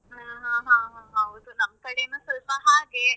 ಹಾ ಹಾ ಹಾ ಹೌದು ನಮ್ ಕಡೆನೂ ಸ್ವಲ್ಪ ಹಾಗೆ